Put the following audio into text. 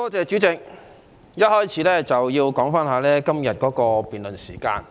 主席，首先要談談今天的辯論時間。